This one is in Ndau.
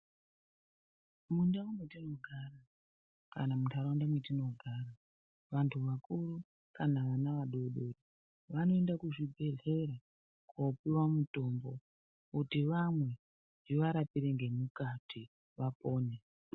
Mundau metinogara kana munharaunda metinogara, vantu vakuru kana vana vadodori vanoende kuzvibhedhlera kopiwa mutombo kuti vamwe zviwarapire ngemukati vapone.